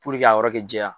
k'a yɔrɔ kɛ jɛya